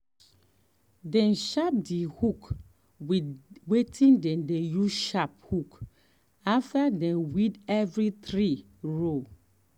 dem sharp their hoe with wetin dem dey use sharp hoe after dem weed every three row.